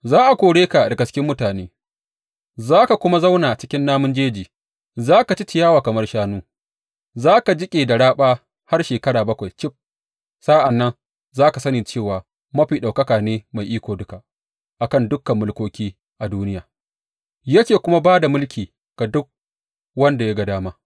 Za a kore ka daga cikin mutane, za ka kuma zauna cikin namun jeji; za ka ci ciyawa kamar shanu, za ka jiƙe da raɓa har shekara bakwai cif sa’an nan za ka sani cewa Mafi Ɗaukaka ne mai iko duka a kan dukan mulkoki a duniya, yake kuma ba da mulki ga duk wanda ya ga dama.